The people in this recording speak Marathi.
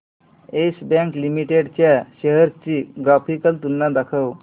येस बँक लिमिटेड च्या शेअर्स ची ग्राफिकल तुलना दाखव